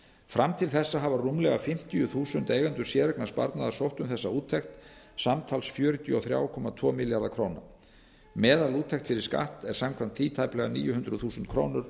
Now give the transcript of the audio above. fram til þessa hafa rúmlega fimmtíu þúsund eigendur séreignarsparnaðar sótt um þessa úttekt samtals fjörutíu og þrjú komma tvo milljarða króna meðalúttekt fyrir skatt er samkvæmt því tæplega níu hundruð þúsund krónur